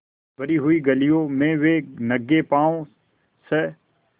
भरी हुई गलियों में वे नंगे पॉँव स्